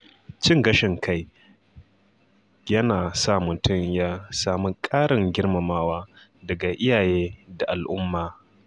Cin gashin kai yana sa mutum ya sami ƙarin girmamawa daga iyaye da al’umma.